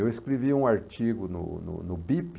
Eu escrevi um artigo no no no Bip.